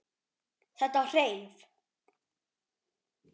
Þetta hreif.